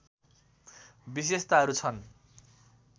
विशेषताहरू छन्